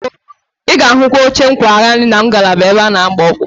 Ị ga-ahụ oche nkwagharị na ngalaba ebe a na- agbakwa ọkpụkpụ